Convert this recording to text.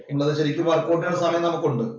സമയം നമുക്കുണ്ട്.